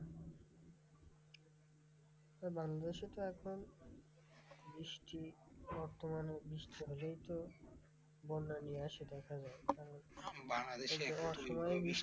বাংলাদেশে তো এখন বৃষ্টি বর্তমানে বৃষ্টি হলেই তো বন্যা নিয়ে আসে দেখা যায়,